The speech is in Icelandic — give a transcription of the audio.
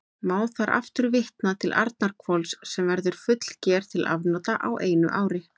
Má þar aftur vitna til Arnarhvols, sem verður fullger til afnota á einu ári.